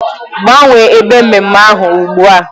Gbanwee ebe ememme ahụ ugbu a!